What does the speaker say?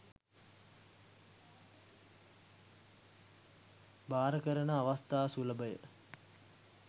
භාර කරන අවස්ථා සුලභය.